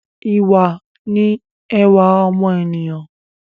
Ìwà ni ẹwà ọmọ ènìyàn